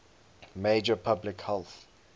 major public health